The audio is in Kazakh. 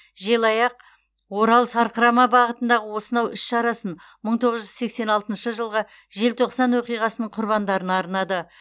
желаяқ орал сарқырама бағытындағы осынау іс шарасын мың тоғыз жүз сексен алтыншы жылғы желтоқсан оқиғасының құрбандарына арнады